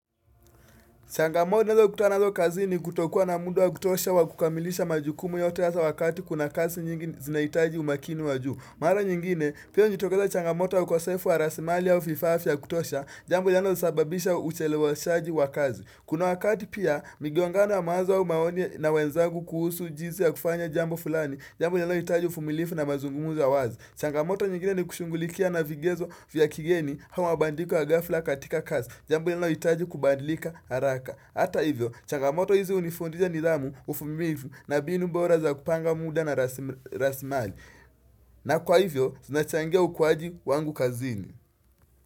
Changamoto ninazo kutana nazo kazini ni kutokua na muda wa kutosha wa kukamilisha majukumu yote hasa wakati kuna kazi nyingi zinahitaji umakini wa juu. Mara nyingine, pia hujitokeza changamoto wa ukosefu wa rasilimali au vifaa vya kutosha, jambo linalosababisha ucheleweshaji wa kazi. Kuna wakati pia, migongana mawazo au maoni na wenzangu kuhusu jinsi ya kufanya jambo fulani, jambo linalohitaji uvumilivu na mazungumzo ya wazi. Changamoto nyingine ni kushugulikia na vigezo vya kigeni ama mabadiliko ya ghafla katika kazi Jambo linalohitaji kubadilika haraka Hata hivyo, changamoto hizi hunifundisha nidhamu uvumilivu na mbinu bora za kupanga muda na rasilimali na kwa hivyo, zinachangia ukuwaji wangu kazini.